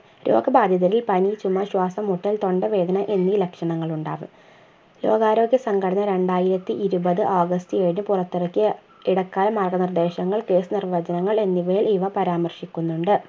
രോഗബാധിതരിൽ പനി ചുമ ശ്വാസംമുട്ടൽ തൊണ്ടവേദന എന്നി ലക്ഷണങ്ങൾ ഉണ്ടാവും രോഗാരോഗ്യ സംഘടന രണ്ടായിരത്തിയിരുപത് august ഏഴിന് പുറത്തിറക്കിയ ഇടക്കാല മാർഗനിർദേശങ്ങൾ കേസ് നിർവചനങ്ങൾ എന്നിവയിൽ ഇവ പരാമർശിക്കുന്നുണ്ട്